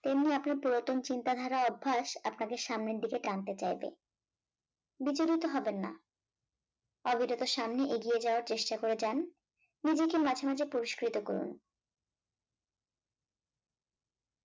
তেমনি আপনার পুরাতন চিন্তাধারা অভ্যাস আপনাকে সামনের দিকে টানতে চাইবে বিচলিত হবেন না অবিরত সামনে এগিয়ে যাওয়ার চেষ্টা করে যান মাঝে মাঝে পুরস্কৃত করুন ।